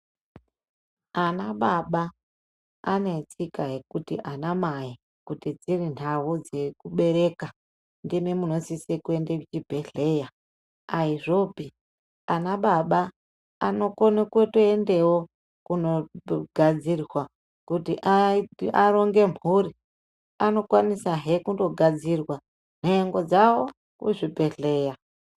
Anababa ane tsika yekuti ana mai kuti dziri nhau dzekubereka ndimi munosise kuende kuchibhedhleya aizvopi ana baba anokone kutiendewo kunogadzirea kuti aronge mhpuri anokwanisahe kundogadzirwa nhengo dzawo kuzvibhedhleya.